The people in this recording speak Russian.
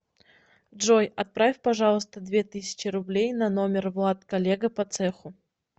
джой отправь пожалуйста две тысячи рублей на номер влад коллега по цеху